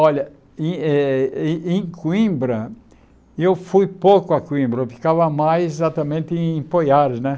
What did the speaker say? Olha, em eh em em Coimbra, eu fui pouco a Coimbra, eu ficava mais exatamente em Poiares, né?